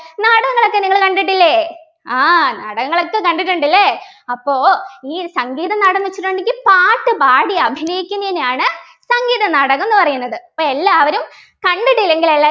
നാടകങ്ങൾ ഒക്കെ നിങ്ങൾ കണ്ടിട്ടില്ലേ ആഹ് നാടകങ്ങളൊക്കെ കണ്ടിട്ടുണ്ട് അല്ലേ അപ്പൊ ഈ ഒരു സംഗീത നാടകം എന്ന് വച്ചിട്ടുണ്ടെങ്കിൽ പാട്ട് പാടി അഭിനയിക്കുന്നതിനെയാണ് സംഗീത നാടകം ന്നു പറയുന്നത് എല്ലാവരും കണ്ടിട്ടില്ലെങ്കിൽ എല്ലാ